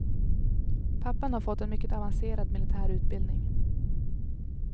Pappan har fått en mycket avancerad militär utbildning.